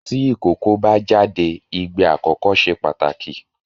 Tí ìkókó bá jáde igbe àkọ́kọ́ se pàtàkì